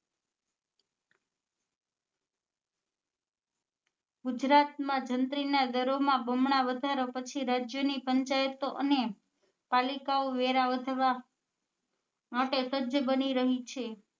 ગુજરાત માં જંત્રી ના ઘરો માં બમણા વધારા પછી રાજ્યો ની પંચાયતો અને પાલિકા ઓ વેરા વધવા માટે સજ્જ બની રહી છે